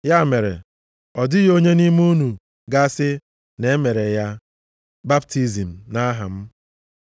Ya mere, ọ dịghị onye nʼime unu ga-asị na e mere ya baptizim nʼaha m.